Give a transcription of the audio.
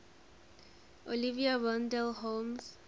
oliver wendell holmes